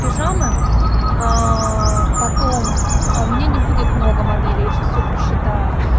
пижама потом а у меня не будет много моделей сейчас все просчитала